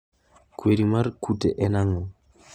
Kwiri mar kute en ang'o?